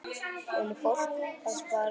Lillý: Fólk að spara?